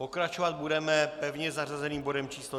Pokračovat budeme pevně zařazeným bodem číslo